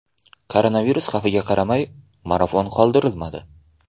Koronavirus xavfiga qaramay, marafon qoldirilmadi.